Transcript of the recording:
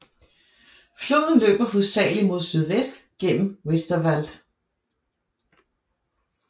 Floden løber hovedsageligt mod sydvest gennem Westerwald